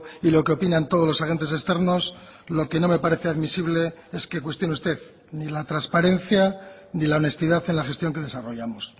y lo queopinan todos los agentes externos lo que no me parece admisible es que cuestione usted ni la transparencia ni la honestidad en la gestión que desarrollamos